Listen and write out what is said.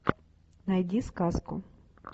найди сказку